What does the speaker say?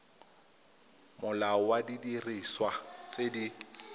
molao wa didiriswa tse di